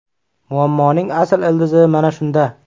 Muammoning asl ildizi mana shunda!